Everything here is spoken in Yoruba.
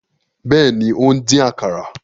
Bẹẹni, o n dín àkàrà